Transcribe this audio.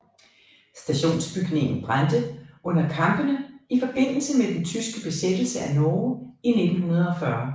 Stationsbygningen brændte under kampene i forbindelse med den tyske besættelse af Norge i 1940